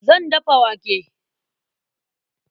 Zan dafa wake.